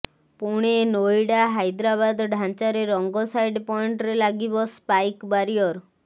ପୁଣେ ନୋଇଡା ହାଇଦ୍ରାବାଦ ଢାଞ୍ଚାରେ ରଙ୍ଗ ସାଇଡ ପଏଣ୍ଟରେ ଲାଗିବ ସ୍ପାଇକ ବାରିୟର